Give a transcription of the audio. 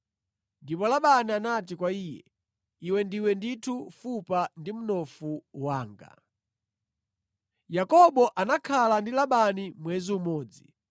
Ndipo, Labani anati kwa iye, “Iwe ndiwe ndithu fupa ndi mnofu wanga.” Yakobo Akwatira Leya ndi Rakele Yakobo anakhala ndi Labani mwezi umodzi.